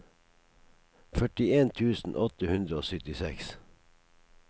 førtien tusen åtte hundre og syttiseks